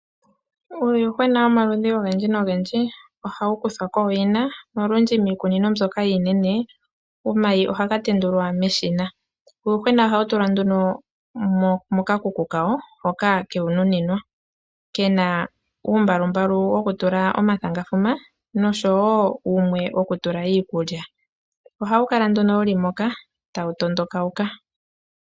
Uuyuhwena womaludhi ogendji nogendji ohawu kuthwako kooyina. Olundji miikunino mboka iinene omayi ohaga tendulwa meshina. Uuyuhwena ohawu tulwa nduno mokakuku kawo hoka kewununinwa, kena uumbalumbalu wokutula omathangafuma osho wo wumwe wokutula iikulya. Ohawu kala nduno wuli moka tawu tondoka.